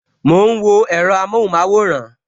Mo ń wo èro amohun maworan